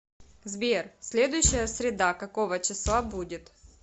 сбер следующая среда какого числа будет